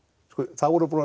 þá voru búnir